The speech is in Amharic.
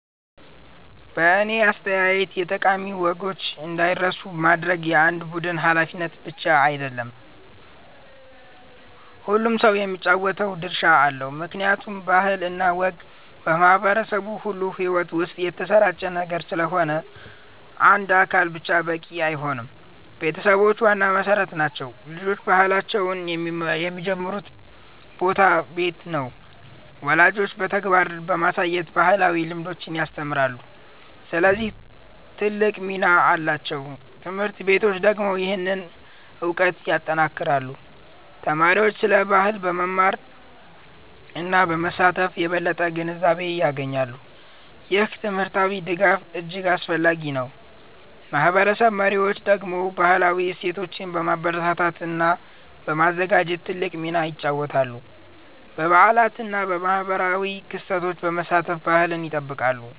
በእኔ አስተያየት የጠቃሚ ወጎችን እንዳይረሱ ማድረግ የአንድ ቡድን ብቻ ሃላፊነት አይደለም፤ ሁሉም ሰው የሚጫወተው ድርሻ አለው። ምክንያቱም ባህል እና ወግ በማህበረሰብ ሁሉ ሕይወት ውስጥ የተሰራጨ ነገር ስለሆነ አንድ አካል ብቻ በቂ አይሆንም። ቤተሰቦች ዋና መሠረት ናቸው። ልጆች ባህላቸውን የሚጀምሩበት ቦታ ቤት ነው። ወላጆች በተግባር በማሳየት ባህላዊ ልምዶችን ያስተምራሉ፣ ስለዚህ ትልቅ ሚና አላቸው። ት/ቤቶች ደግሞ ይህንን እውቀት ያጠናክራሉ። ተማሪዎች ስለ ባህል በመማር እና በመሳተፍ የበለጠ ግንዛቤ ያገኛሉ። ይህ ትምህርታዊ ድጋፍ እጅግ አስፈላጊ ነው። ማህበረሰብ መሪዎች ደግሞ ባህላዊ እሴቶችን በማበረታታት እና በማዘጋጀት ትልቅ ሚና ይጫወታሉ። በበዓላት እና በማህበራዊ ክስተቶች በመሳተፍ ባህልን ይጠብቃሉ።